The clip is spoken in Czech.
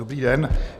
Dobrý den.